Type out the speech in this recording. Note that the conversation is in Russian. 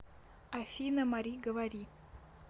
афина мари говори